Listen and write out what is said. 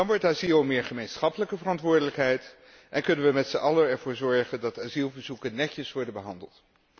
Dan wordt asiel ook meer een gemeenschappelijke verantwoordelijkheid en kunnen we met z'n allen ervoor zorgen dat asielverzoeken netjes worden behandeld.